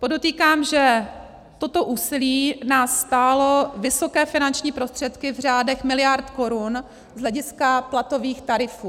Podotýkám, že toto úsilí nás stálo vysoké finanční prostředky v řádech miliard korun z hlediska platových tarifů.